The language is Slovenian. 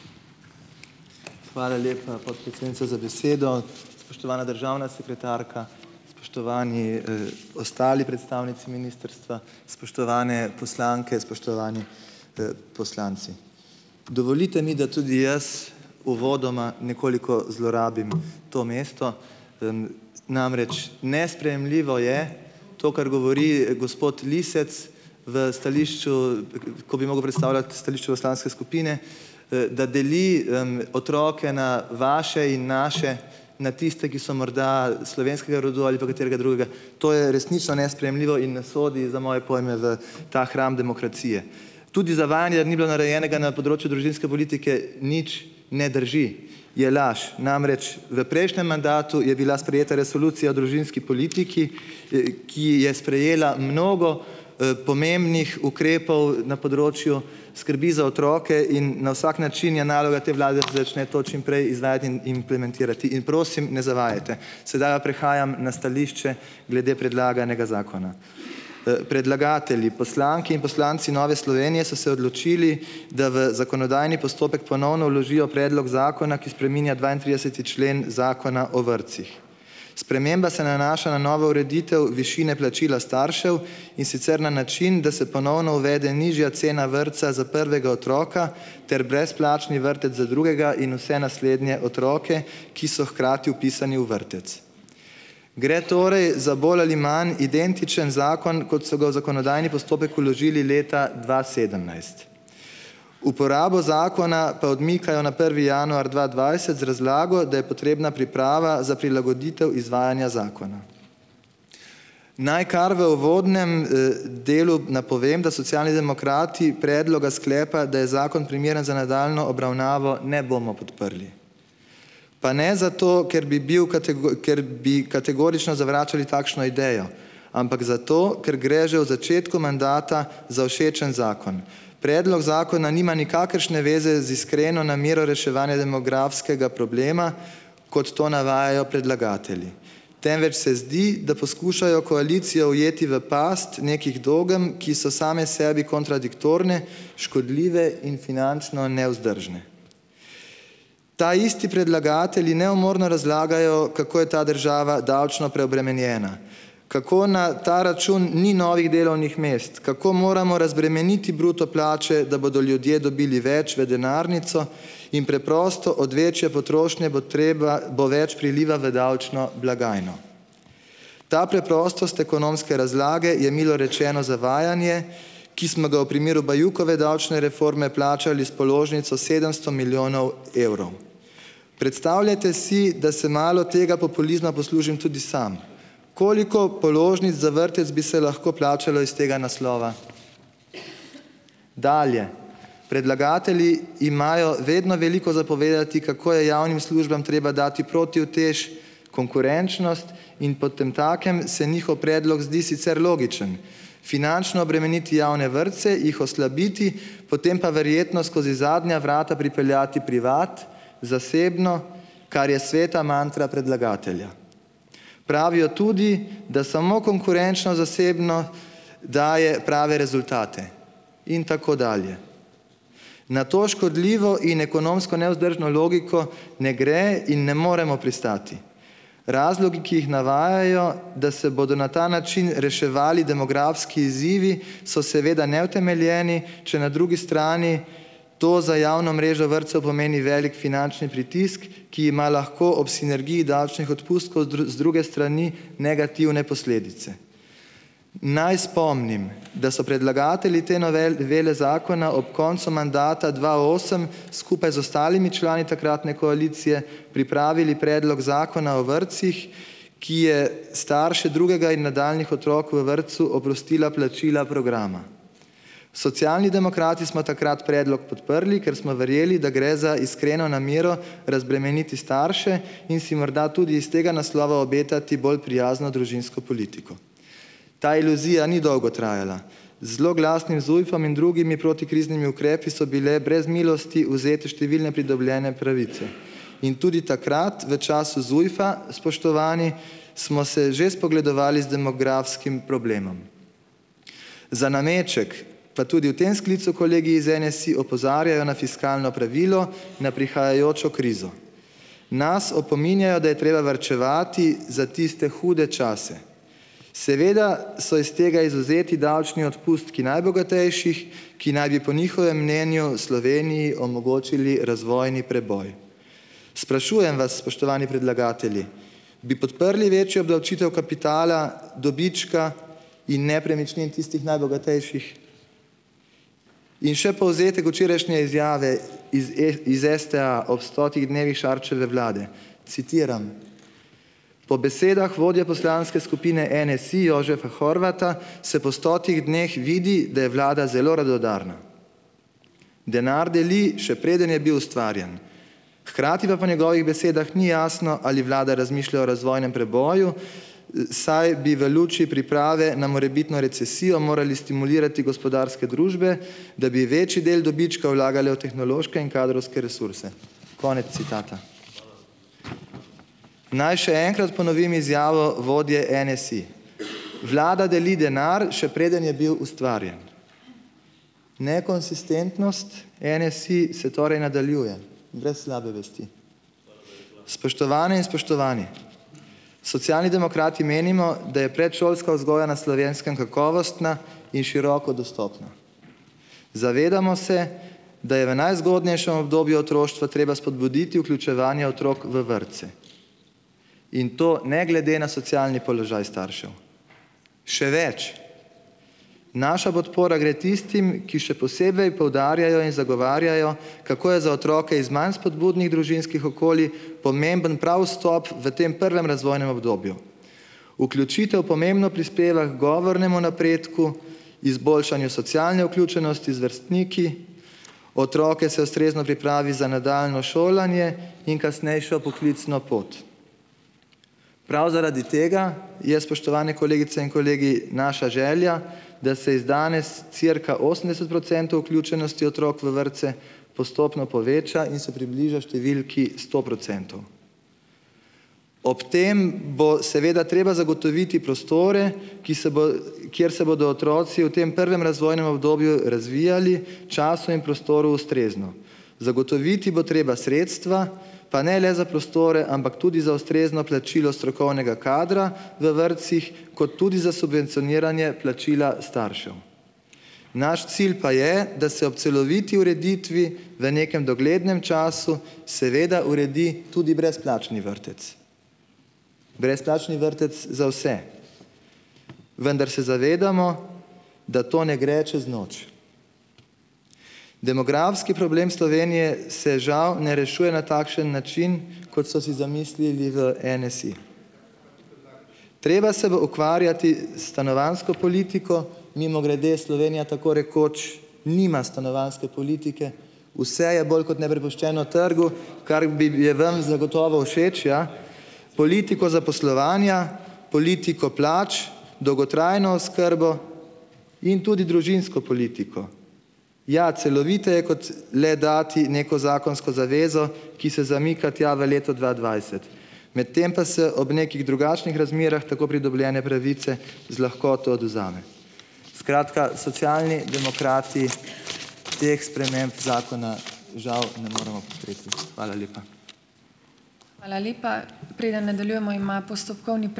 Hvala lepa, podpredsednica, za besedo. Spoštovana državna sekretarka, spoštovani, ostali predstavnici ministrstva, spoštovane poslanke, spoštovani, poslanci. Dovolite mi, da tudi jaz uvodoma nekoliko zlorabim to mesto, namreč nesprejemljivo je to, kar govori, gospod Lisec v stališču, ko bi mogel predstavljati stališče poslanske skupine, da deli, otroke na vaše in naše, na tiste, ki so morda slovenskega rodu ali pa katerega drugega. To je resnično nesprejemljivo in ne sodi za moje pojme v ta hram demokracije. Tudi zavajanje, da ni bilo narejenega na področju družinske politike nič, ne drži, je laž, namreč v prejšnjem mandatu je bila sprejeta resolucija o družinski politiki, ki je sprejela mnogo, pomembnih ukrepov na področju skrbi za otroke in na vsak način je naloga te vlade, da začne to čim prej izvajati in implementirati. In prosim, ne zavajajte. Sedaj pa prihajam na stališče glede predlaganega zakona. Predlagatelji, poslanke in poslanci Nove Slovenije, so se odločili, da v zakonodajni postopek ponovno vložijo predlog zakona, ki spreminja dvaintrideseti člen zakona o vrtcih. Sprememba se nanaša na novo ureditev višine plačila staršev, in sicer na način, da se ponovno uvede nižja cena vrtca za prvega otroka ter brezplačni vrtec za drugega in vse naslednje otroke, ki so hkrati vpisani v vrtec. Gre torej za bolj ali manj identičen zakon, kot so ga v zakonodajni postopek vložili leta dva sedemnajst. Uporabo zakona pa odmikajo na prvi januar dva dvajset z razlago, da je potrebna priprava za prilagoditev izvajanja zakona. Naj kar v uvodnem, delu napovem, da Socialni demokrati predloga sklepa, da je zakon primeren za nadaljnjo obravnavo, ne bomo podprli. Pa ne zato, ker bi bil ker bi kategorično zavračali takšno idejo, ampak zato, ker gre že v začetku mandata za všečen zakon. Predlog zakona nima nikakršne veze z iskreno namero reševanja demografskega problema, kot to navajajo predlagatelji, temveč se zdi, da poskušajo koalicijo ujeti v past nekih dogem, ki so same sebi kontradiktorne, škodljive in finančno nevzdržne. Taisti predlagatelji neumorno razlagajo, kako je ta država davčno preobremenjena, kako na ta račun ni novih delovnih mest, kako moramo razbremeniti bruto plače, da bodo ljudje dobili več v denarnico, in preprosto od večje potrošnje bo treba, bo več priliva v davčno blagajno. Ta preprostost ekonomske razlage je, milo rečeno, zavajanje, ki smo ga v primeru Bajukove davčne reforme plačali s položnico sedemsto milijonov evrov. Predstavljajte si, da se malo tega populizma poslužim tudi sam. Koliko položnic za vrtec bi se lahko plačalo iz tega naslova? Dalje. Predlagatelji imajo vedno veliko za povedati, kako je javnim službam treba dati protiutež, konkurenčnost, in potemtakem se njihov predlog zdi sicer logičen. Finančno obremeniti javne vrtce, jih oslabiti, potem pa verjetno skozi zadnja vrata pripeljati privat, zasebno, kar je sveta mantra predlagatelja. Pravijo tudi, da samo konkurenčno zasebno daje prave rezultate in tako dalje. Na to škodljivo in ekonomsko nevzdržno logiko ne gre in ne moremo pristati. Razlogi, ki jih navajajo, da se bodo na ta način reševali demografski izzivi, so seveda neutemeljeni, če na drugi strani to za javno mrežo vrtcev pomeni velik finančni pritisk, ki ima lahko ob sinergiji davčnih odpustkov z druge strani negativne posledice. Naj spomnim, da so predlagatelji te novele zakona ob koncu mandata dva osem skupaj z ostalimi člani takratne koalicije pripravili predlog zakona o vrtcih, ki je starše drugega in nadaljnjih otrok v vrtcu oprostil plačila programa. Socialni demokrati smo takrat predlog podprli, ker smo verjeli, da gre za iskreno namero razbremeniti starše, in si morda tudi iz tega naslova obetati bolj prijazno družinsko politiko. Ta iluzija ni dolgo trajala. Z zloglasnim ZUJF-om in drugimi protikriznimi ukrepi so bile brez milosti vzete številne pridobljene pravice in tudi takrat, v času ZUJF-a, spoštovani, smo se že spogledovali z demografskim problemom. Za nameček pa tudi v tem sklicu kolegi iz NSi opozarjajo na fiskalno pravilo, na prihajajočo krizo. Nas opominjajo, da je treba varčevati za tiste hude čase. Seveda so iz tega izvzeti davčni odpustki najbogatejših, ki naj bi po njihovem mnenju Sloveniji omogočili razvojni preboj. Sprašujem vas, spoštovani predlagatelji, bi podprli večjo obdavčitev kapitala, dobička in nepremičnin tistih najbogatejših? In še povzetek včerajšnje izjave iz e, iz STA ob stotih dnevih Šarčeve vlade. Citiram: "Po besedah vodje poslanske skupine NSi, Jožefa Horvata, se po stotih dneh vidi, da je vlada zelo radodarna. Denar deli, še preden je bil ustvarjen, hkrati pa po njegovih besedah ni jasno, ali vlada razmišlja o razvojnem preboju, saj bi v luči priprave na morebitno recesijo morali stimulirati gospodarske družbe, da bi večji del dobička vlagale v tehnološke in kadrovske resurse." Konec citata. Naj še enkrat ponovim izjavo vodje NSi: "Vlada deli denar, še preden je bil ustvarjen." Nekonsistentnost NSi se torej nadaljuje brez slabe vesti. Spoštovane in spoštovani, Socialni demokrati menimo, da je predšolska vzgoja na Slovenskem kakovostna in široko dostopna. Zavedamo se, da je v najzgodnejšem obdobju otroštva treba spodbuditi vključevanje otrok v vrtce in to ne glede na socialni položaj staršev. Še več, naša podpora gre tistim, ki še posebej poudarjajo in zagovarjajo, kako je za otroke iz manj spodbudnih družinskih okolij pomemben prav vstop v tem prvem razvojnem obdobju. Vključitev pomembno prispeva h govornemu napredku, izboljšanju socialne vključenosti z vrstniki, otroke se ustrezno pripravi za nadaljnje šolanje in kasnejšo poklicno pot. Prav zaradi tega je, spoštovane kolegice in kolegi, naša želja, da se iz danes cirka osemdeset procentov vključenosti otrok v vrtce postopno poveča in se približa številki sto procentov. Ob tem bo seveda treba zagotoviti prostore, ki se bo, kjer se bodo otroci v tem prvem razvojnem obdobju razvijali, času in prostoru ustrezno. Zagotoviti bo treba sredstva pa ne le za prostore, ampak tudi za ustrezno plačilo strokovnega kadra v vrtcih, kot tudi za subvencioniranje plačila staršev. Naš cilj pa je, da se ob celoviti ureditvi v nekem doglednem času seveda uredi tudi brezplačni vrtec. Brezplačni vrtec za vse. Vendar se zavedamo, da to ne gre čez noč. Demografski problem Slovenije se žal ne rešuje na takšen način, kot so si zamislili v NSi. Treba se bo ukvarjati s stanovanjsko politiko, mimogrede Slovenija tako rekoč nima stanovanjske politike, vse je bolj kot ne prepuščeno trgu, kark bib je vam zagotovo všeč, ja. Politiko zaposlovanja, politiko plač, dolgotrajno oskrbo in tudi družinsko politiko. Ja, celoviteje, kot le dati neko zakonsko zavezo, ki se zamika tja v leto dva dvajset, medtem pa se ob nekih drugačnih razmerah tako pridobljene pravice z lahkoto odvzame. Skratka, Socialni demokrati teh sprememb zakona žal ne moremo podpreti. Hvala lepa.